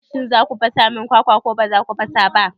Shin za ku fasa min kwakwa ko ba za ku fasa ba?